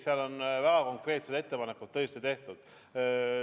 Seal on väga konkreetseid ettepanekuid tehtud.